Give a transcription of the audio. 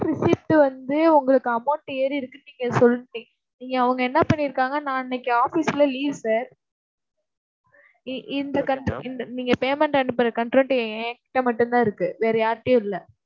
receipt வந்து உங்களுக்கு amount ஏறி இருக்குன்னு நீங்கச் சொல்லிட்டீங்க. இங்க அவங்க என்ன பண்ணிருக்காங்க நான் அன்னைக்கு office ல leave sir இ~ இந்த நீங்க payment அனுப்புற என்கிட்ட மட்டும்தான் இருக்கு வேற யார்கிட்டயும் இல்லை